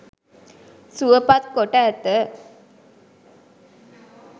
සුවපත් කොට ඇත.